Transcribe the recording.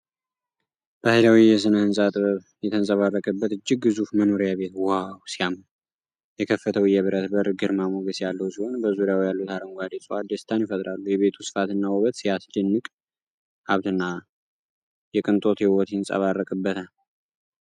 ባህላዊ የስነ-ህንጻ ጥበብ የተንጸባረቀበት እጅግ ግዙፍ መኖሪያ ቤት ዋው ሲያምር!!። የከፈተው የብረት በር ግርማ ሞገስ ያለው ሲሆን፣ በዙሪያው ያሉት አረንጓዴ ዕፅዋት ደስታን ይፈጥራሉ። የቤቱ ስፋትና ውበት ሲያስደንቅ፣ ሀብትና የቅንጦት ሕይወት ይንጸባረቅበታል።